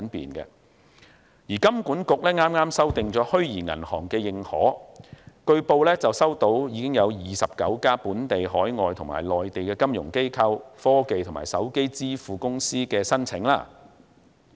香港金融管理局剛剛修訂了《虛擬銀行的認可》指引，據報已收到29家本地、海外及內地的金融機構、科技和手機支付公司申請。